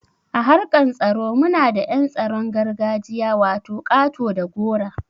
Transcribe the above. A harkan tsaro muna da yan tsaron gargajiya wato ƙato da gora.